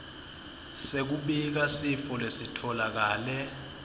sekubika sifo lesitfolakale